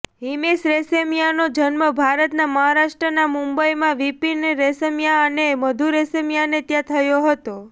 હિમેશ રેશમિયાનો જન્મ ભારતનાં મહારાષ્ટ્રનાં મુંબઈમાં વિપિન રેશમિયા અને મધુ રેશમિયાને ત્યાં થયો હતો